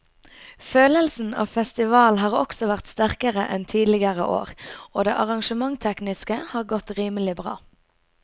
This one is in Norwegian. Følelsen av festival har også vært sterkere enn tidligere år og det arrangementstekniske har godt rimelig bra.